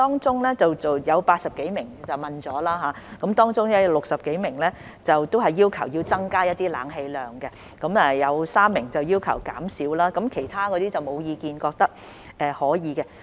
在受訪的80多人中，有60多人要求增加冷氣量，有3人要求減少，其餘則沒有意見，覺得是可以的。